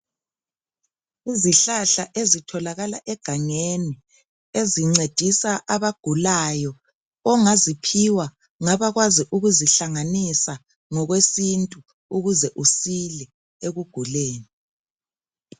Izihlahla ezitholakala egangeni ezincedisa abagulayo .Ongaziphiwa ngabakwazi ukuzihlanganisa ngokwesintu, ukuze usile ekuguleni.